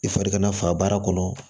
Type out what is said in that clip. I fari kana faga baara kɔnɔ